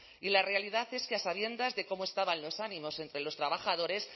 y la realidad es que a sabiendas de cómo estaban los ánimos entre los trabajadores